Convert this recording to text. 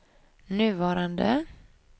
nuvarande